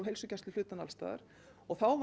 heilsugæsluhlutann alls staðar og þá